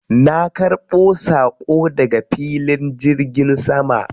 Na ƙarbo saƙo daga filin jirgin sama.